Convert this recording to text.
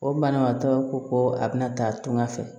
O banabaatɔ ko ko a bɛna taa tunga fɛ